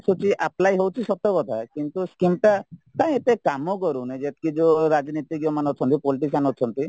apply ହଉଚି ସତକଥା କିନ୍ତୁ scheme ଟା କାଇଁ ଏତେ କାମକରୁନି ଯେତିକି ଯୋଉ ରାଜନୀତିଜ୍ଞ ମାନେ ଅଛନ୍ତି politician ଅଛନ୍ତି